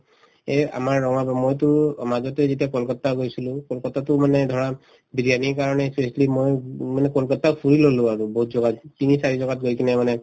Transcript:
এই আমাৰ মইতো মাজতে যেতিয়া কলকাট্টা গৈছিলো কলকাট্টাতো মানে ধৰা বিৰিয়ানিৰ কাৰণে specially ময়ো মানে কলকাট্টা ফুৰি ললো আৰু বহুত জগাত তিনি চাৰি জগাত গৈ কিনে মানে